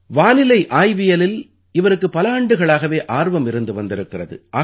வானிலை ஆய்வியலில் இவருக்குப் பல ஆண்டுகளாகவே ஆர்வம் இருந்து வந்திருக்கிறது